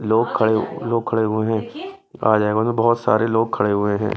लोग खड़े लोग खड़े हुए हैं आ जाएगा बहुत सारे लोग खड़े हुए हैं।